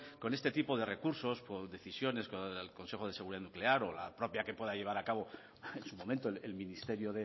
con este tipo de recursos por decisiones del consejo de seguridad nuclear o la propia que pueda llevar a cabo en su momento el ministerio